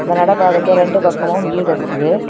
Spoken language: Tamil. இந்த நடைபாதைக்கு இரண்டு பக்கமும் வீடு இருக்குது.